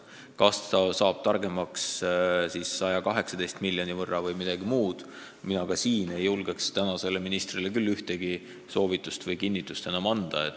Kas me saame nii palju targemaks, et näeme vajadust maksta 118 miljonit eurot või mingi muu summa, selle kohta ei julge ka mina praegusele ministrile midagi kinnitada.